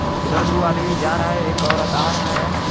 उधर दो आदमी जा रहा है एक औरत आ रहा है।